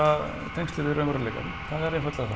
tengslin við raunveruleikann það er einfaldlega